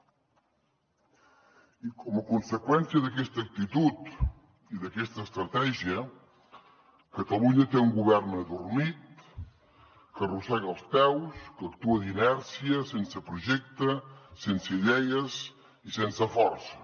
i com a conseqüència d’aquesta actitud i d’aquesta estratègia catalunya té un govern adormit que arrossega els peus que actua d’inèrcia sense projecte sense idees i sense força